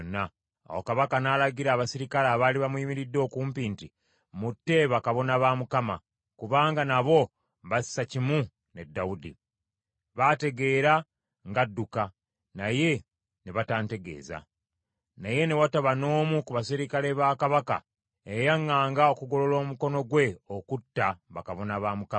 Awo kabaka n’alagira abaserikale abaali bamuyimiridde okumpi, nti, “Mutte bakabona ba Mukama , kubanga nabo bassa kimu ne Dawudi. Baategeera ng’adduka, naye ne batantegeeza.” Naye ne wataba n’omu ku baserikale ba kabaka eyayaŋŋanga okugolola omukono gwe okutta bakabona ba Mukama .